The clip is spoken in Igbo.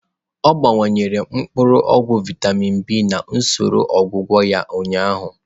Ọ gbakwunyere mkpuru ogwu vịatamin B na usoro ọgwụgwọ ya ụnyaahụ.